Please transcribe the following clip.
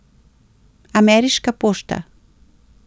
Ameriška pošta.